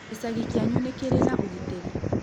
gĩcagi kĩanyu nĩkĩrĩ na ũgitĩri